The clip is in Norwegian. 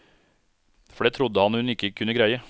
For det trodde han hun ikke kunne greie.